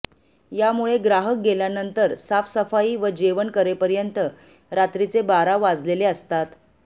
यामुळे ग्राहक गेल्यानंतर साफसफाई व जेवण करेपर्यंत रात्रीचे बारा वाजलेले असतात